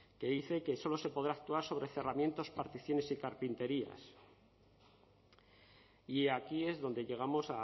que dice que solo se podrá actuar sobre cerramientos particiones y carpinterías y aquí es donde llegamos